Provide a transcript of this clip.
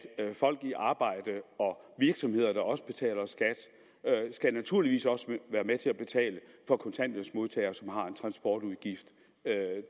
folk i arbejde og virksomheder der også betaler skat naturligvis også være med til at betale for kontanthjælpsmodtagere som har en transportudgift